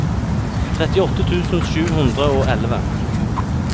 trettiåtte tusen sju hundre og elleve